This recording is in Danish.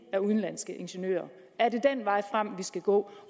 af udenlandske ingeniører er det den vej frem vi skal gå